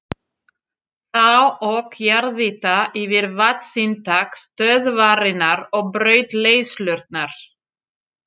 Þá ók jarðýta yfir vatnsinntak stöðvarinnar og braut leiðslurnar.